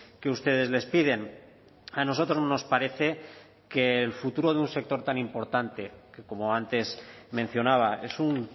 que ustedes les piden a nosotros nos parece que el futuro de un sector tan importante que como antes mencionaba es un